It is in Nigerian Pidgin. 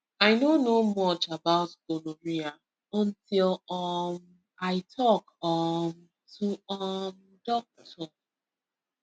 i no know much about gonorrhea until um i talk um to um doctor